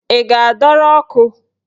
Ị ga-adọrọ ọkụ?